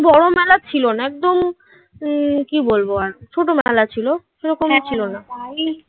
বড় মেলা ছিল না. একদম উম কি বলব আর ছোটবেলা ছিল. সেরকমই ছিল না.